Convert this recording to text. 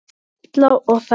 Smella og sækja.